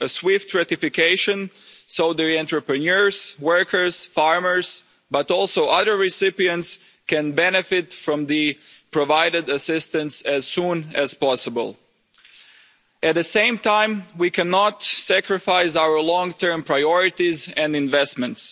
A swift ratification so the entrepreneurs, workers, farmers, but also other recipients, can benefit from the assistance provided as soon as possible. At the same time we cannot sacrifice our long term priorities and investments.